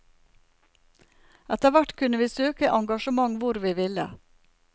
Etter hvert kunne vi søke engasjement hvor vi ville.